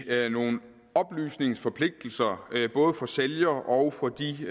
ved nogle oplysningsforpligtelser både for sælger og for de